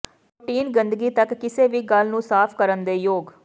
protein ਗੰਦਗੀ ਤੱਕ ਕਿਸੇ ਵੀ ਗੱਲ ਨੂੰ ਸਾਫ ਕਰਨ ਦੇ ਯੋਗ